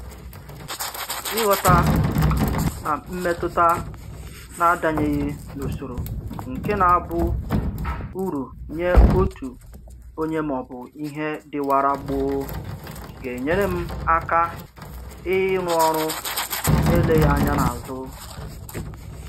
Ịghọta na mmetụta na-adanyeghị n'usoro nke na-abụ uru nye otu onye maọbụ bụ ihe dịwara gboo ga-enyere m aka ịrụ ọrụ na-eleghị anya n'azụ